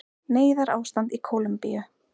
Neyðarástand í Kólumbíu